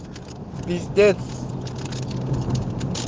пиздец